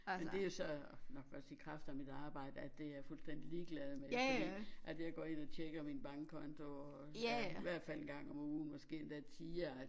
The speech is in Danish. Men det jo så nok også i kraft af mit arbejde at det jeg fuldstændig ligeglad med fordi at jeg går ind og tjekker min bankkonto og ja i hvert fald en gang om ugen måske endda tiere